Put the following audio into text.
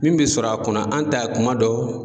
Min bɛ sɔrɔ a kɔnɔ an ta ye kuma dɔ.